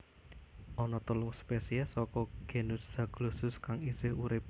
Ana telung spesies saka genus Zaglossus kang isih urip